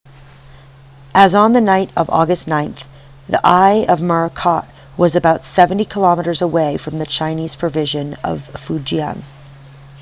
as of the night of august 9 the eye of morakot was about seventy kilometres away from the chinese province of fujian